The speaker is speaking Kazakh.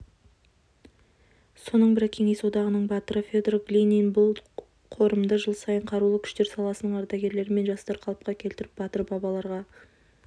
соның бірі кеңес одағының батыры федор глинин бұл қорымды жыл сайын қарулы күштер саласының ардагерлері мен жастар қалыпқа келтіріп батыр бабаларға